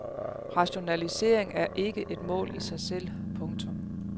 Rationalisering er ikke et mål i sig selv. punktum